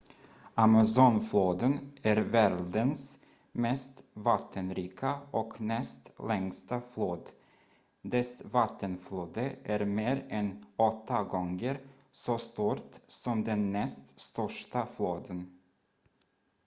amazonfloden är världens mest vattenrika och näst längsta flod dess vattenflöde är mer än 8 gånger så stort som den näst största floden